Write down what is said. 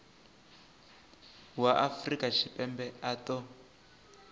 wa afrika tshipembe a ṱo